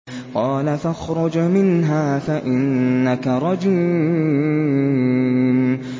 قَالَ فَاخْرُجْ مِنْهَا فَإِنَّكَ رَجِيمٌ